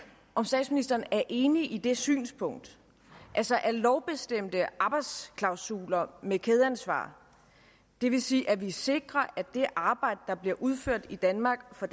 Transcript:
om statsministeren virkelig er enig i det synspunkt altså at lovbestemte arbejdsklausuler med kædeansvar det vil sige at vi sikrer at det arbejde der bliver udført i danmark for